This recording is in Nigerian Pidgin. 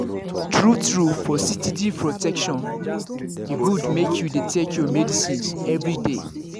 true-true for steady protection e good make you dey take your medicines everyday.